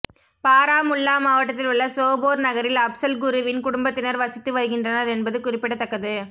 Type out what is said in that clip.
பாராமுல்லா மாவட்டத்தில் உள்ள சோபோர் நகரில் அப்சல் குருவின் குடும்பத்தினர் வசித்து வருகின்றனர் என்பது குறிப்பிடத்தக்கது